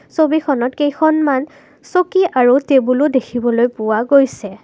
ছবিখনত কেইখনমান চকী আৰু টেবুলও দেখিবলৈ পোৱা গৈছে।